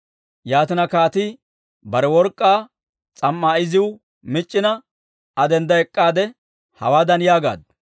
Yaatina, kaatii bare work'k'aa s'am"aa iziw mic'c'ina, Aa dendda ek'k'aade, hawaadan yaagaaddu;